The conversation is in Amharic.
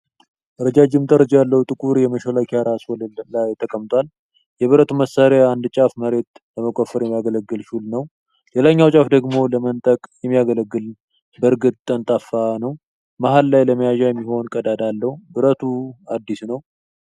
ረጃጅም ጠርዝ ያለው ጥቁር የመሿለኪያ ራስ ወለል ላይ ተቀምጧል። የብረቱ መሳሪያ አንድ ጫፉ መሬት ለመቆፈር የሚያገለግል ሹል ነው። ሌላኛው ጫፍ ደግሞ ለመንጠቅ የሚያገለግል በርግጥ ጠፍጣፋ ነው። መሃል ላይ ለመያዣ የሚሆን ቀዳዳ አለው። ብረቱ አዲስ ነው።